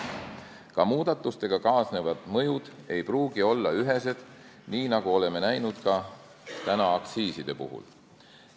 Ka muudatustega kaasnevad mõjud ei pruugi olla ühesed, nii nagu oleme näinud aktsiiside puhul.